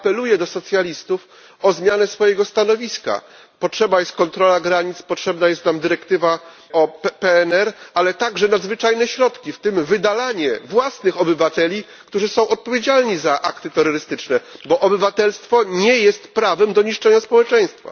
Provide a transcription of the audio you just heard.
Apeluję do socjalistów o zmianę swojego stanowiska. Potrzebna jest kontrola granic, potrzebna jest nam dyrektywa o PNR, ale także nadzwyczajne środki, w tym wydalanie własnych obywateli, którzy są odpowiedzialni za akty terrorystyczne, bo obywatelstwo nie jest prawem do niszczenia społeczeństwa.